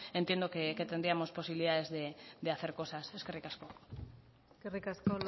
entiendo que tendríamos posibilidades de hacer cosas eskerrik asko eskerrik asko